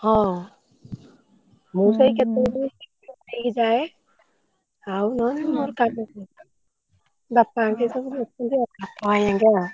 ହଁ ମୂଁ ସେଇ କେତେବେଳେ କେମିତି ଯାଏ ଆଉ ନହେଲେ ମୋର କାମ ଙ୍କ ବାପା ଘେରିକା ସବୁ ଅଛନ୍ତି ଆଉ ବାପା ଭାଇ ଘେରିକା।